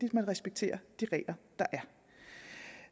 at man respekterer de regler der